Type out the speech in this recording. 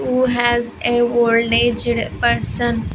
Who has a old aged person --